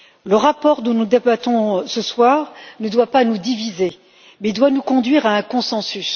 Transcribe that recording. Le rapport, dont nous débattons ce soir, ne doit pas nous diviser mais doit nous conduire à un consensus